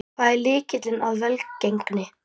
Hver er lykilinn að velgengninni?